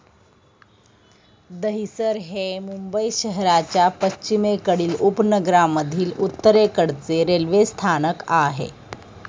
दहिसर हे मुंबई शहराच्या पश्चिमेकडील उपनगरांमधील उत्तरेकडचे रेल्वे स्थानक आहे.